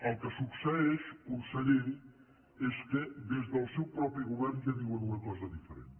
el que succeeix conseller és que des del seu propi govern ja diuen una cosa diferent